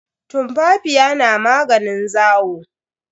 Tumfafiya na maganin zawo.